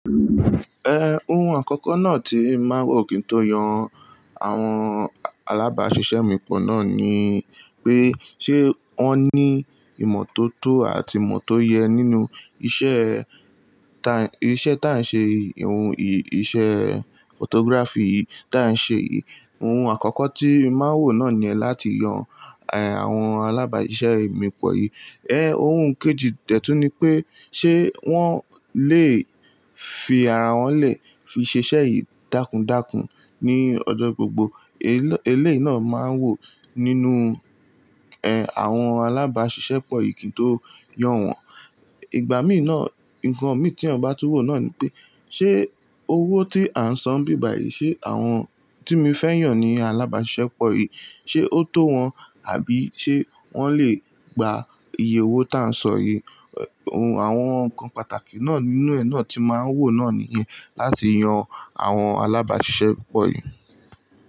Ẹ òun àkọ́kọ́ náà tí màá wò kí n tó yan àwọn alábàáṣiṣẹ́ mi pọ̀ náà ni pé, ṣe wọ́n ní ìmọ́tótó àti ìmọ́tóye nínú iṣẹ́ ta-- iṣẹ́ tá ń ṣe yìí, ohun ì-- iṣẹ́ photography yìí tá ń ṣe yìí? Ohun àkọ́kọ́ tí màá wò náà ni ẹ́ láti yan, ẹ, àwọn alábàáṣiṣẹ́ mi pọ̀ yìí. Ẹ òun kejì dẹ́tù ni pé ṣe wọ́n lè fi ara wọn lè fi ṣiṣẹ́ yìí dákùndákùn ní ọjọ́ gbogbo? Eléyìí náà máa wò nínú, ẹ, àwọn alábàáṣiṣẹ́ pọ̀ yìí kí n tó yan wọ́n. Ìgbà mí náà, nǹkan mí tí mo bá tú wò náà ni pé, ṣe owó tí à ń san bíbàyìí, ṣe àwọn tí mo fẹ́ yàn ní alábàáṣiṣẹ́ pọ̀ yìí, ṣe ó tó wọn? Àbí ṣe wọ́n lè gba iye owó tá ń san yìí? Ohun àwọn nǹkan pàtàkì náà nínú ẹ náà tí màá wò náà nìyẹn láti yan àwọn alábàáṣiṣẹ́ pọ̀ yìí.